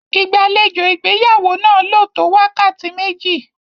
Ìgbàlejò ìgbéyàwó náà lò tó wákàtí méjì.